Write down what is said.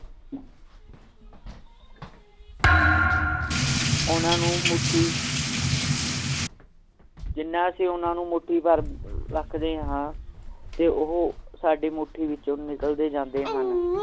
ਓਹਨਾ ਨੂੰ ਮੁਠੀ ਜਿਹਨਾਂ ਅਸੀਂ ਓਹਨਾ ਨੂੰ ਮੁਠੀ ਭਰ ਰੱਖਦੇ ਹਨ ਤਾ ਉਹ ਸਾਡੀ ਮੁਠੀ ਵਿੱਚੋ ਨਿਕਲਦੇ ਜਾਂਦੇ ਹਨ